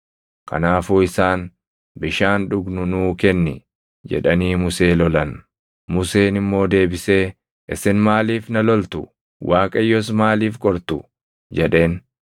Kanaafuu isaan, “Bishaan dhugnu nuu kenni” jedhanii Musee lolan. Museen immoo deebisee, “Isin maaliif na loltu? Waaqayyos maaliif qortu?” jedheen.